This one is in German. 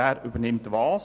Wer übernimmt was?